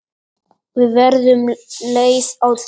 Við verðum leið á því.